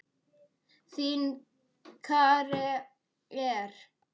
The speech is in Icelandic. Þín, Kara Eir.